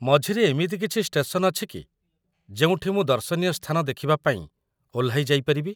ମଝିରେ ଏମିତି କିଛି ଷ୍ଟେସନ୍‌ ଅଛି କି ଯେଉଁଠି ମୁଁ ଦର୍ଶନୀୟ ସ୍ଥାନ ଦେଖିବା ପାଇଁ ଓହ୍ଲାଇ ଯାଇପାରିବି?